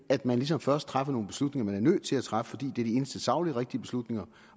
at man ligesom først træffer nogle beslutninger man er nødt til at træffe fordi det er de eneste sagligt rigtige beslutninger